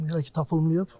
İndi hələ ki tapılmayıb.